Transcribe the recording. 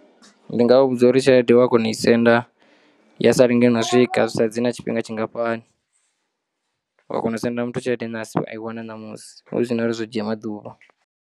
Ndi nga vha vhudza uri tshelede wa kona u i senda ya sa lenge na swika zwi sa dzhii na tshifhinga tshingafhani. Uya kona u senda muthu tshelede nahasi a i wana namusi hu sina uri zwo dzhia maḓuvha.